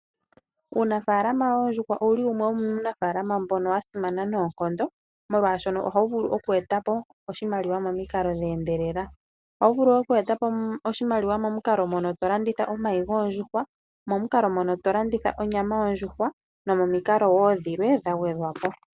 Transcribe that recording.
Uunafalama woondjuhwa owuli wumwe womunafalaama mbono wasimana noonkondo, molwaashono ohawu vulu okweetapo oshimaliwa momikalo dheendelela. Ohawu vulu okweetapo oshimaliwa uuna to landitha omayi goondjuhwa, onyama nayilwe ya gwedhwapo.